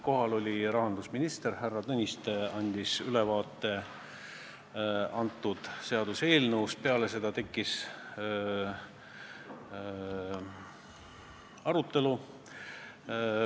Kohal oli rahandusminister härra Tõniste, kes andis seaduseelnõust ülevaate, peale seda tekkis arutelu.